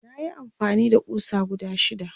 nayi amfani da ƙusa guda shida